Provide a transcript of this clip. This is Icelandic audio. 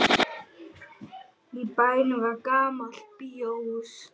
Í bænum var gamalt bíóhús.